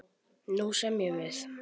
Nú semjum við!